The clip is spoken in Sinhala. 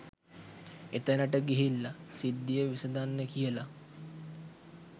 එතැනට ගිහිල්ලා සිද්ධිය විසඳන්න කියලා